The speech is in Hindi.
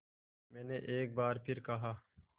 मैंने एक बार फिर कहा